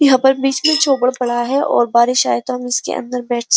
यहाँ पर बीच में झोपड़ पड़ा है और बारिश आए तो हम इसके अन्दर बैठ --